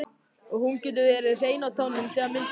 Og hún getur verið hrein á tánum þegar myndin byrjar.